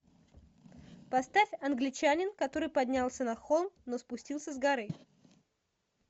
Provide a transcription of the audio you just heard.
поставь англичанин который поднялся на холм но спустился с горы